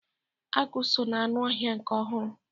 Agụ so ná anụ ọhịa nke ọhụrụ.